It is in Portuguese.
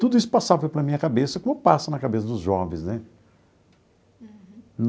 Tudo isso passava pela minha cabeça, como passa na cabeça dos jovens né.